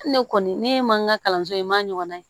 Ni ne kɔni ne ye mankan kalanso in n ma ɲɔgɔn na ye